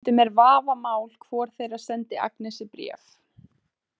Stundum er vafamál hvor þeirra sendi Agnesi bréf.